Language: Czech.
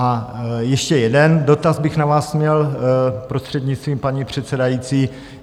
A ještě jeden dotaz bych na vás měl, prostřednictvím paní předsedající.